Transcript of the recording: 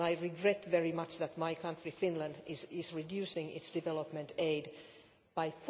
I regret very much that my country, Finland, is reducing its development aid by